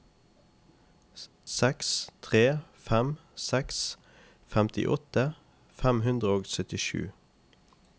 seks tre fem seks femtiåtte fem hundre og syttisju